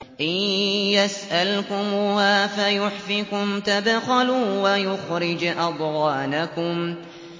إِن يَسْأَلْكُمُوهَا فَيُحْفِكُمْ تَبْخَلُوا وَيُخْرِجْ أَضْغَانَكُمْ